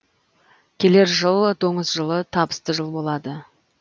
келер жыл доңыз жылы табысты жыл болады